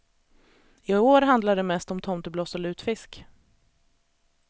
I år handlar det mest om tomtebloss och lutfisk.